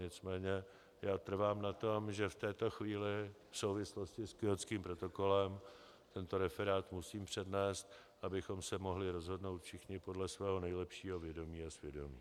Nicméně já trvám na tom, že v této chvíli v souvislosti s Kjótským protokolem tento referát musím přednést, abychom se mohli rozhodnout všichni podle svého nejlepšího vědomí a svědomí.